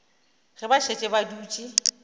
ge ba šetše ba dutše